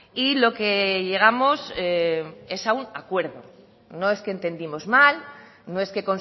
y lo que llegamos es a un acuerdo no es que entendimos mal no es que